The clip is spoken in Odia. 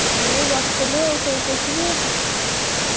ଏଇ ବସଥିଲି ଆଉ ଶୋଇକି ଉଠିଲି।